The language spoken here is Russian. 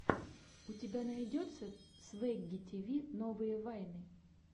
у тебя найдется свэгги тиви новые вайны